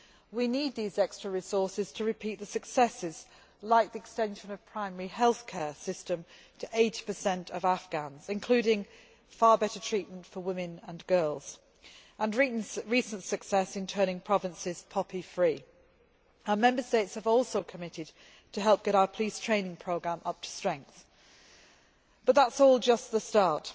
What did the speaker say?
We need these extra resources to repeat the successes, like the extension of the primary health care system to 80 of Afghans including far better treatment for women and girls and recent success in turning provinces poppy free. Our Member States have also committed to help get our police training programme up to strength. But that is all just the start.